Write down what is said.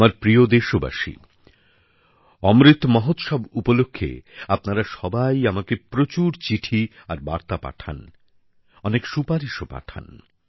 আমার প্রিয় দেশবাসী অমৃত মহোৎসব উপলক্ষে আপনারা সবাই আমাকে প্রচুর চিঠি আর বার্তা পাঠান অনেক সুপারিশও পাঠান